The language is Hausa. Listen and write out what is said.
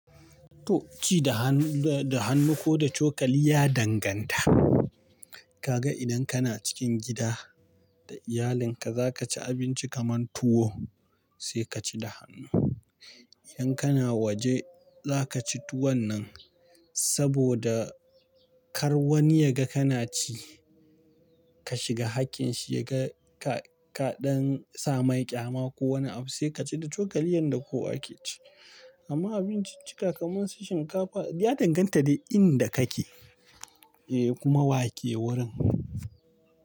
To ci da hannu da hannu ko da cokali ya danganta. Kaga idan kana cikin gida da iyalinka za ka ci abinci kamar tuwo sai ka ci da hannu. Idan kana waje za ka ci tuwon nan saboda kar wani ya ga kana ci ka shiga hakkinshi ya ga ka, ka ɗan sa manja ma ko wani abu sai ka ci da cokali yanda kowa yake ci. Amma abinciccika kamar su shinkafa ya danganta da inda kake, eh kuma wake wurin.